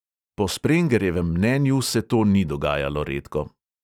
Po sprengerjevem mnenju se to ni dogajalo redko.